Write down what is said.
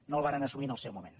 no el varen assumir en el seu moment